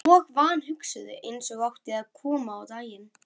Og vanhugsuðu, eins og átti eftir að koma á daginn.